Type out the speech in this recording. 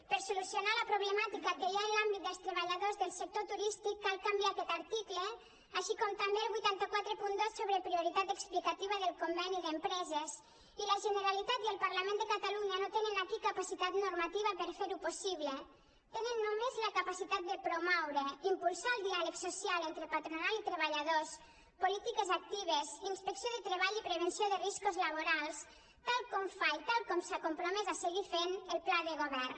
per solucionar la problemàtica que hi ha en l’àmbit dels treballadors del sector turístic cal canviar aquest article així com també el vuit cents i quaranta dos sobre prioritat explicativa del conveni d’empreses i la generalitat i el parlament de catalunya no tenen aquí capacitat normativa per fer ho possible tenen només la capacitat de promoure impulsar el diàleg social entre patronal i treballadors polítiques actives inspecció de treball i prevenció de riscos laborals tal com fa i tal com s’ha compromès a seguir fent el pla de govern